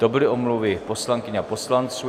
To byly omluvy poslankyň a poslanců.